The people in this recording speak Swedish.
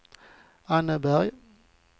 Anneberg